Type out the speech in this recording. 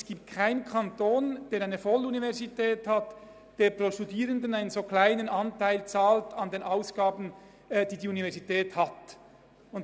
Es gibt keinen Kanton, der eine Volluniversität führt und pro Studierenden einen so kleinen Anteil der Ausgaben der Universität finanziert.